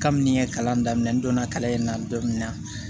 Kabini n ye kalan daminɛ n donna kalan in na don min na